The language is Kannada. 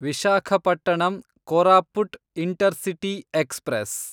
Visakhapatnam Koraput intercity express